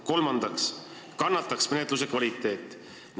Kolmandaks kannataks menetluse kvaliteet.